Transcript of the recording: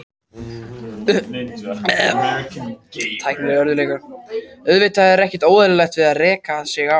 Auðvitað er ekkert óeðlilegt við það að reka sig á.